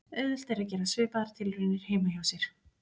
Auðvelt er að gera svipaðar tilraunir heima hjá sér.